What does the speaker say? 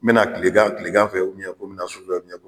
N bɛna tilegan tilegan fɛ ko n bɛna su fɛ ko